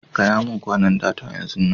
Gaya mun kwanan data, yanzun nan!